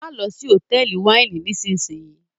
mo ló sì Hotẹẹli Wáìnì nísìsiyìí!